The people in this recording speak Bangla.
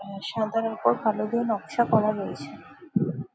আহ সাদার উপর কালো দিয়ে নকশা করা রয়েছে ।